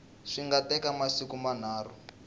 swi nga teka masiku manharhu